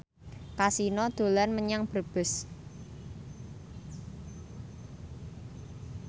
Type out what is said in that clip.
Kasino dolan menyang Brebes